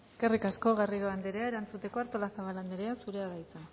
eskerrik asko garrido andrea erantzuteko artolazabal anderea zurea da hitza